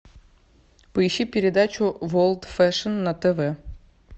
поищи передачу ворлд фэшн на тв